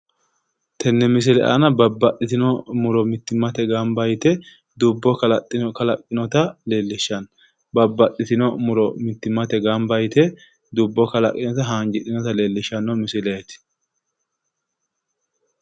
Tenne misile aana babbaxxitino muro gamba yite dubbo kalaqqinota leellishshanno babbaxxitino muro mittimmate gamba yite dubbo kalaqqe haanjidhinota leellishshanno misileeti.